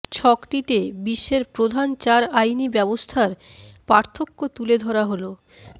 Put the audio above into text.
ছকটিতে বিশ্বের প্রধান চার আইনি ব্যবস্থার পার্থক্য তুলে ধরা হলোঃ